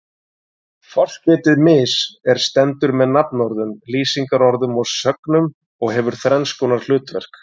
Forskeytið mis- er stendur með nafnorðum, lýsingarorðum og sögnum og hefur þrenns konar hlutverk.